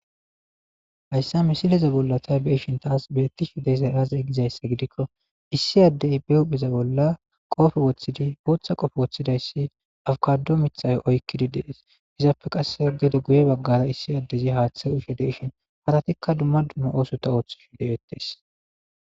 Hayssa misileza bolla tay bi'eshin taas beetti shideyza raazey gizayssa gidikko issi addey be huhpheza bolla qofe woththidi booththa qofe woththidayssi awukado mithayo oykkidi dees izaappe qasse gede guye baggara issi addezi haaththe ushshe deishin haratikka dumma dummo oosota ooththi hidewettes